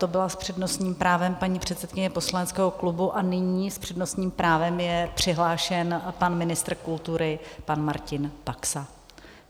To byla s přednostním právem paní předsedkyně poslaneckého klubu a nyní s přednostním právem je přihlášen pan ministr kultury pan Martin Baxa.